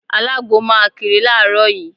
Alagbo máa kiri láàárọ̀ yìí.